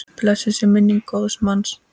Blessuð sé minning góðs manns.